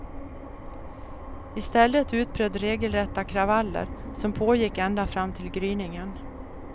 I stället utbröt regelrätta kravaller, som pågick ända fram till gryningen.